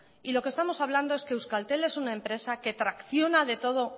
y lo que estamos hablando es que euskaltel es una empresa que tracciona de todo